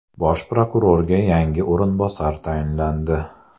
Bosh prokurorga yangi o‘rinbosar tayinlandi.